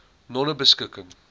nonebeskikking